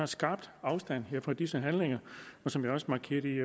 skarpt afstand fra disse handlinger og som jeg også markerede i